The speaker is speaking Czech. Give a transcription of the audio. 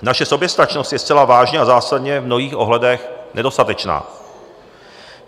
Naše soběstačnost je zcela vážně a zásadně v mnohých ohledech nedostatečná.